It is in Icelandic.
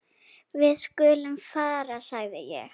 Við skulum fara sagði ég.